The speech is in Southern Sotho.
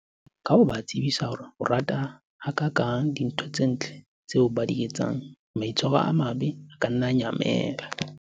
Ka ho ba tsebisa hore o rata ha kakang dintho tse ntle tseo ba di etsang, maitshwaro a mabe a ka nna a nyamela.